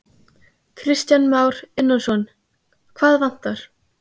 Kristján Már Unnarsson: Hvað vantar?